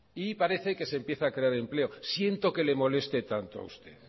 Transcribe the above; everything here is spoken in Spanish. y parece que se empieza a crear empleo siento que le moleste tanto a usted